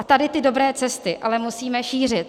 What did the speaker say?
A tady ty dobré cesty ale musíme šířit.